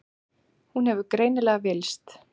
Hún hefur greinilega villst.